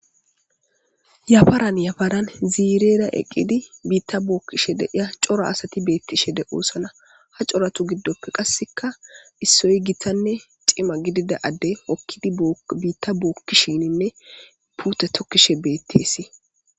Yafaran yafaran ziirera eqqidi biitta bookkishe deiya cora asati beettishe de'oosana ha coratu giddoppe qasseka issoy gitanne cima gidida adde hokkidi biitta bookkishininne pute tokkishe beettesii